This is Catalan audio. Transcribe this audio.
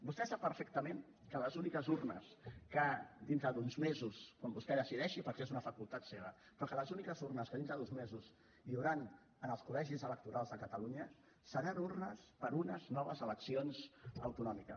vostè sap perfectament que les úniques urnes que d’aquí a uns mesos quan vostè ho decideixi perquè és una facultat seva hi hauran en els col·legis electorals de catalunya seran urnes per a unes noves eleccions autonòmiques